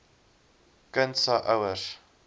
kind se ouers